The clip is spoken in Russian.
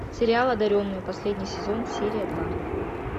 сериал одаренные последний сезон серия два